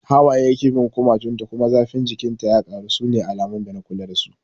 Hawaye yake bin kumatun ta kuma zafin jikin ta ya karu, sune alamun dana kula da su